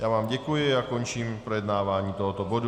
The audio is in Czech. Já vám děkuji a končím projednávání tohoto bodu.